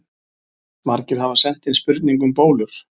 Margir hafa sent inn spurningu um bólur.